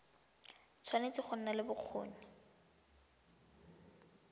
tshwanetse go nna le bokgoni